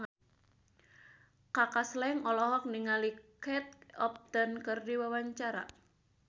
Kaka Slank olohok ningali Kate Upton keur diwawancara